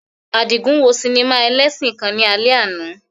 Adigun wo sinima elesin kan ni alẹ ana